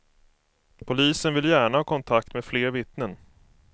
Polisen vill gärna ha kontakt med fler vittnen.